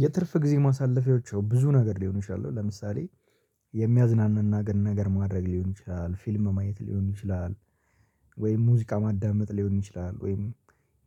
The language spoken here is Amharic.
የትርፍ ጊዜ ማሳለፊያዎች ብዙ ነገር ሊሆን ይችላል። ለምሳሌ የሚያዝናናን ነገር ማድረግ ሊሆን ይችላል፤ ፊልም ማየት ሊሆን ይችላል፤ ወይም ሙዚቃ ማዳመጥ ሊሆን ይችላል፤ ወይም